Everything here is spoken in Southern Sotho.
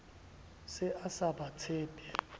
se a sa ba tshepe